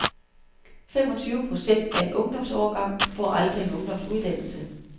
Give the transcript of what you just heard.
Femogtyve procent af en ungdomsårgang får aldrig en ungdomsuddannelse.